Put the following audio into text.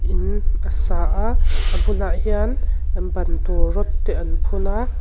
in a sa a a bulah hian ban tur rod te an phun.